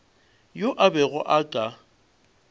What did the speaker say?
yo a bego a ka